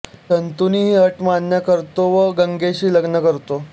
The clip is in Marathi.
शंतनू ही अट मान्य करतो व गंगेशी लग्न करतो